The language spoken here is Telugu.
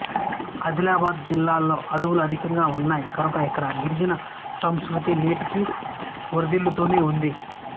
ఆదిలాబాద్ జిల్లాలో అడవులు అధికంగా ఉన్నాయి కనుక ఇక్కడ గిరిజన సంస్కృతి నేటికీ వర్ధిల్లుతూనే ఉంది